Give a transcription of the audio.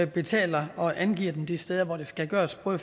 betaler og angiver dem de steder hvor det skal gøres både